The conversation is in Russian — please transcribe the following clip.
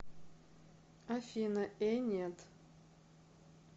афина э нет